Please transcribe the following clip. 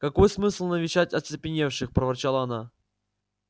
какой смысл навещать оцепеневших проворчала она